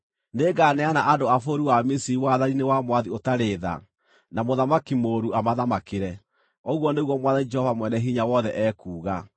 Nĩnganeana andũ a bũrũri wa Misiri wathani-inĩ wa mwathi ũtarĩ tha, na mũthamaki mũũru amathamakĩre,” ũguo nĩguo Mwathani Jehova Mwene-Hinya-Wothe ekuuga.